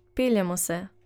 Peljemo se.